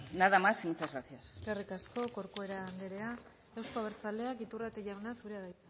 nada más y muchas gracias eskerrik asko corcuera anderea euzko abertzaleak iturrate jauna zurea da